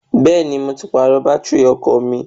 Bẹ́ẹ̀ni, mo ti pàrọ̀ bátìrì ọkọ̀ mi.